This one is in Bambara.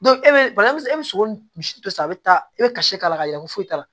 e be bali e bɛ sogo misi dɔ san a bɛ taa i bɛ kasi k'a la ka yɛlɛ ko foyi t'a la